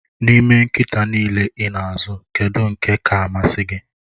N'ime nkịta niile ị na-azụ, kedu nke ka-amasị gị?